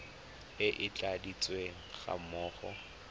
e e tladitsweng ga mmogo